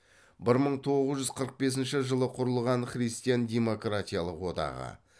бір мың тоғыз жүз қырық бесінші жылы құрылған христиан демократиялық одағы